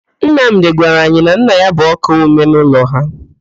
Nnamdị gwara anyị na nna ya bụ ọ́kaa ọmee n'ụlọ ha.